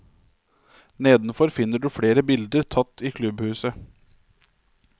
Nedenfor finner du flere bilder tatt i klubbhuset.